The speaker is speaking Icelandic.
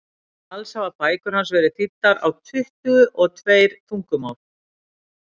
alls hafa bækur hans verið þýddar á tuttugu og tveir tungumál